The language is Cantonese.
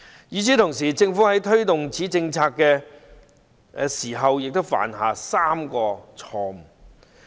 與此同時，政府在推動此政策時也犯下3個錯誤。